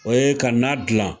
O ye ka na dilan,